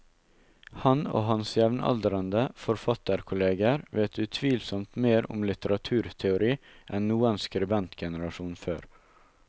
Han og hans jevnaldrende forfatterkolleger vet utvilsomt mer om litteraturteori enn noen skribentgenerasjon før.